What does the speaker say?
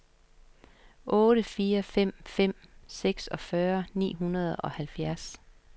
otte fire fem fem seksogtyve ni hundrede og halvfjerds